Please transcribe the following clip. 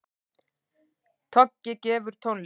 Toggi gefur tónlist